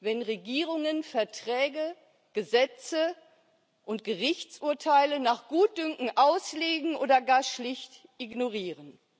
wenn Regierungen Verträge, Gesetze und Gerichtsurteile nach Gutdünken auslegen oder gar schlicht ignorieren?